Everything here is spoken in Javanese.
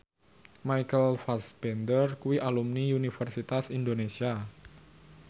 Michael Fassbender kuwi alumni Universitas Indonesia